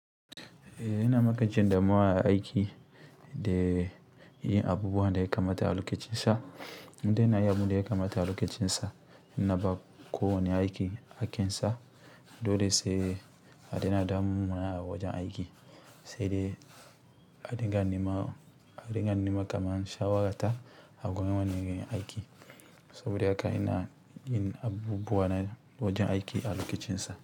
Eh, yana lokacin da muwa aiki da yin abubuwan da ya kamata a lokacin sa. Nidai ina yin abin da ya kamata a lokacin sa, ina ba ko wane aiki haƙƙin sa. Dole sai a daina damu mawa a wajen aiki, sai dai a dinga naima, a dinga nima kamar sha wata. A gurin wanda na nema aiki. Saboda haka yana yin abubuwa na wajen aiki a lokacin sa.